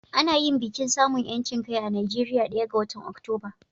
Ana yin bikin samun 'yancin kai a Najeriya ɗaya ga watan Oktoba.